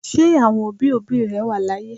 Ṣé àwọn òbí òbí rẹ wà láyé?